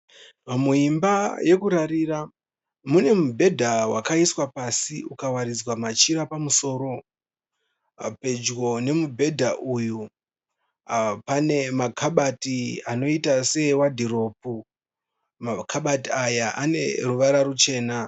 Muimba yokurarira. Mune mubhedha wakaiswa pasi ukawaridzwa machira pamusoro. Pedyo nemubhedha uyu pane makabati anoita see wadhiropu. Makabati aya ane ruvara ruchena.